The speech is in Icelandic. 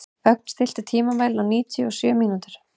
Ögn, stilltu tímamælinn á níutíu og sjö mínútur.